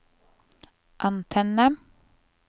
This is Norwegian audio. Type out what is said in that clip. antenne